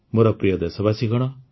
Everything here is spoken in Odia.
ମୋର ପ୍ରିୟ ଦେଶବାସୀଗଣ